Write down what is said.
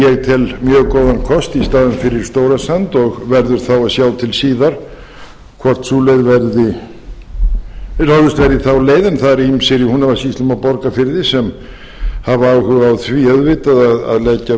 mjög góðan kost í staðinn fyrir stórasand og verður það að sjá til síðar hvort ráðist verði í þá leið annað eru ýmsir í húnavatnssýslum og borgarfirði sem hafa áhuga á því auðvitað að leggja